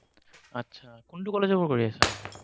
আচ্ছা, কোনটো কলেজৰ পৰা কৰি আছা?